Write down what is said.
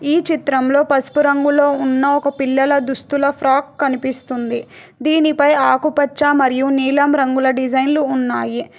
ఈ చిత్రంలో పసుపు రంగులో ఉన్న ఒక పిల్లల దుస్తుల ఫ్రాగ్ కనిపిస్తుంది దీనిపై ఆకుపచ్చ మరియు నీలం రంగుల డిజైన్లు ఉన్నాయి